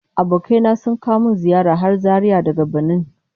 Abokai na sun kawo min ziyara har Zaria daga Banin